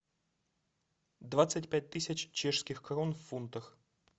двадцать пять тысяч чешских крон в фунтах